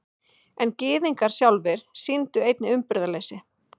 En Gyðingar sjálfir sýndu einnig umburðarleysi.